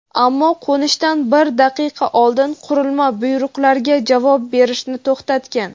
ammo qo‘nishidan bir daqiqa oldin qurilma buyruqlarga javob berishni to‘xtatgan.